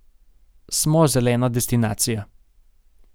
Smo zelena destinacija.